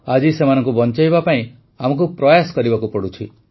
ଆଜି ସେମାନଙ୍କୁ ବଞ୍ଚାଇବା ପାଇଁ ଆମକୁ ପ୍ରୟାସ କରିବାକୁ ପଡ଼ୁଛି